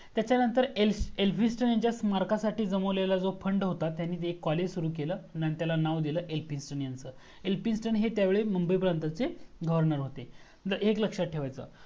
त्यांच्या नंतर एल्फिस्टोन यांच्या स्मारकासाठी गमवलेला जो FUND होता त्यांनी ते COLLEGE सुरू केल आणि त्याला नाव दिला एल्फिस्टोन यांच. एल्फिस्टोन हे त्या वेळी मुंबई प्रांताचे GOVERNOR होते तर एक लक्ष्यात ठेवायचा